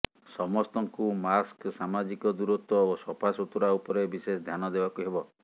ସମସ୍ତଙ୍କୁ ମାସ୍କ ସାମାଜିକ ଦୂରତ୍ବ ଓ ସଫାସୁତୁରା ଉପରେ ବିଶେଷ ଧ୍ୟାନ ଦେବାକୁ ହେବ